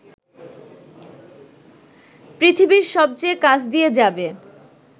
পৃথিবীর সবচেয়ে কাছ দিয়ে যাবে